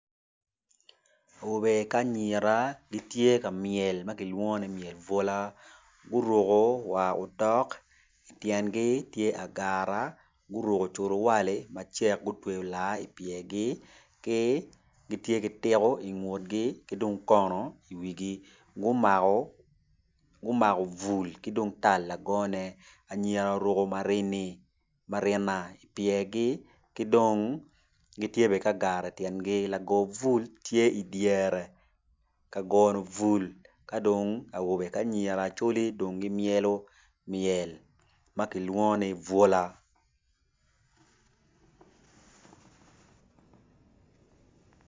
Awobe ki anyira gitye ka myelo bwola guruk war otok tyengi tye agara guruko cuwali macek gutweyo agara i pyergi ki gitye ki tiko i ngutgi ki dong kono i wigi gumako